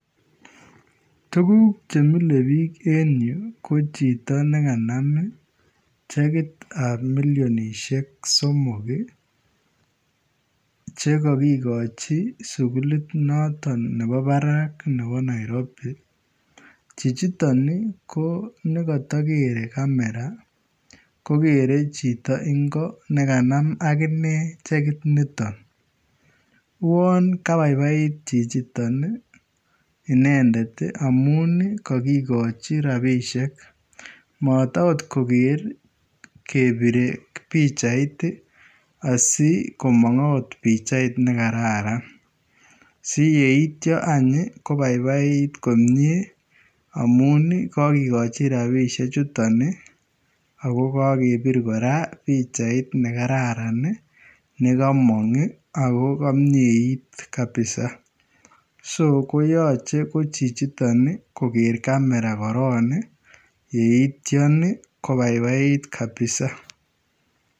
Tuguuk che milee biik en Yuu ko chitoo nekanaam chekiit ab milionishhek somok ii che kagigochii sugulita notoon nebo barak nebo [Nairobi] chichitoon nekatakegerei nebo kamera ko kerei chitoo ingoo nekanam aginei chekiit nitoon uwaan kabaibaait chichitoon ii inendet ii amuun ii kagigochii rapisheek mat akoot koger kebirei pichait asi komaang akoot pichait ne kararan si eityaa ko baibait komyei amuun ii kagigochii rapisheek chutoon ii ako kagebiir kora pichait nekararaan ii ne kamaang ii ako kamiet kabisa ko yachei ko chichitoon koger kamera korong ii yeityaan ii kobaibait kabisaa.